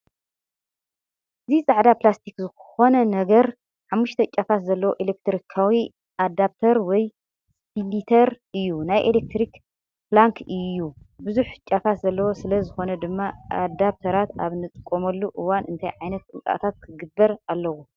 እዚ ጻዕዳ ፕላስቲክ ዝኾነ ነገር ሓሙሽተ ጫፋት ዘለዎ ኤሌክትሪካዊ ኣዳፕተር ወይ ስፕሊተር እዩ። ናይ ኤሌክትሪክ ፕላግ እዩ፣ ብዙሕ ጫፋት ዘለዎ ስለ ዝኾነ ድማ ኣዳፕተራት ኣብ እንጥቀመሉ እዋን እንታይ ዓይነት ጥንቃቐታት ክግበር ኣለዎ?